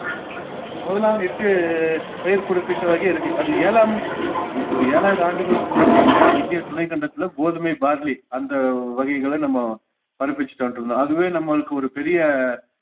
முதலாம் எட்டு பயிர் குறிப்பிட்ட வகை இருக்கு அது ஏழாம் இ~ஒரு ஏழாயிரம் ஆண்டுகளுக்கு முன்னாடி செஞ்ச இந்திய துணைக்கண்டத்துல கோதுமை, barley அந்த வகைகள நம்ம பதிப்பிச்சுட்டு வந்துட்டிருந்தோம் அதுவே நம்மளுக்கு ஒரு பெரிய